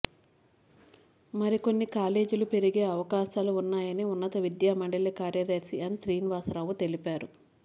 మరికొన్ని కాలేజీలు పెరిగే అవకాశాలు ఉన్నాయని ఉన్నత విద్యామండలి కార్యదర్శి ఎన్ శ్రీనివాసరావు తెలిపారు